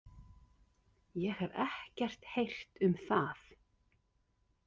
Ég hef ekkert heyrt um það